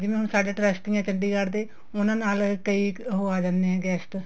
ਜਿਵੇਂ ਹੁਣ ਸਾਡੇ trusty ਏ ਚੰਡੀਗੜ੍ਹ ਦੇ ਉਹਨਾ ਨਾਲ ਕਈ ਉਹ ਆ ਜਾਂਦੇ ਹੈ guest